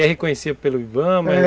E é reconhecido pelo i ba ma? é